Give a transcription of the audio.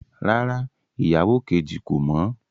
Rárá, ìyàwó kejì kò mọ̀